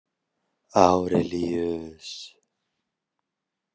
Árelíus